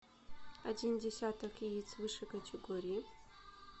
один десяток яиц высшей категории